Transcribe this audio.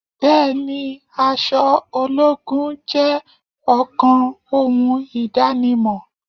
Bẹẹni, aṣọ ológun jẹ́ ọ̀kan ohun idanimọ.